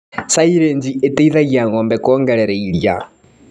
Silĩji iteithagia ngombe kuongerera iria.